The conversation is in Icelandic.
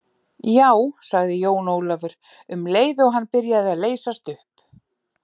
Já, sagði Jón Ólafur, um leið og hann byrjaði að leysast upp.